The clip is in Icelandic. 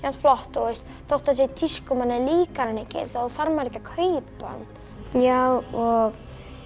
flott og þótt það sé í tísku og manni líkar hann ekki þá þarf maður ekki að kaupa hann já og